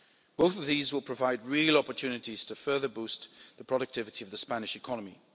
Both of these will provide real opportunities to further boost the productivity of the Spanish economy.